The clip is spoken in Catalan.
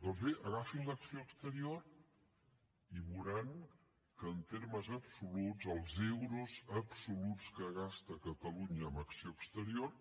doncs bé agafin l’acció exterior i veuran que en termes absoluts els euros absoluts que gasta catalunya en acció exterior